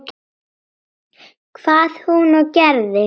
Hvað hún og gerði.